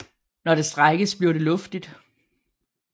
Når det strækkes bliver det luftigt